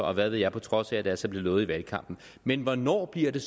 og hvad ved jeg på trods af at det altså blev lovet i valgkampen men hvornår bliver det